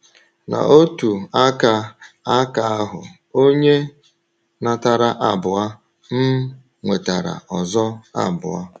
N’otu aka aka ahụ, onye natara abụọ um nwetara ọzọ abụọ.